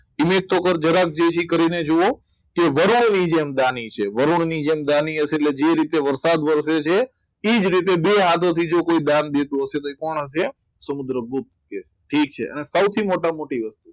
જય જય કરીને જુઓ કે વર્ણનની જેમ દાળ વરુણની જેમ દાની છે વરુડની જેમ દાની હશે એટલે જે રીતના વરસાદ વરસે છે એ જ રીતે બે હાથ એ જ રીતે એ જ રીતે બે જ રીતે કોઈદા બીજો બીજો કોઈ દાનવી દેજો દેતો હશે તો કોણ હશે સમુદ્રગુપ્ત તો સૌથી મોટા મોટી વસ્તુ